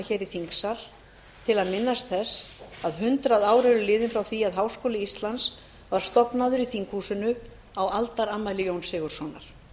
hér í þingsal til að minnast þess að hundrað ár eru þá liðin frá því að háskóli íslands var stofnaður í þinghúsinu á aldarafmæli jóns sigurðssonar